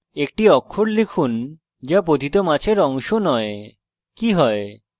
একটি অক্ষর লিখুন যা পতিত মাছের অংশ নয় কি হয়